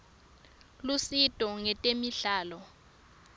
lusito ngetemidlalo